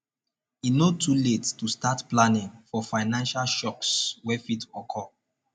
e no too late to start planning for financial shocks wey fit occur